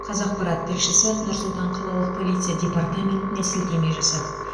қазақпарат тілшісі нұр сұлтан қалалық полиция департаментіне сілтеме жасап